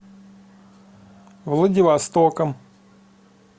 владивостоком